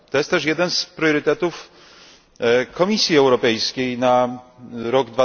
To jest też jeden z priorytetów Komisji Europejskiej na rok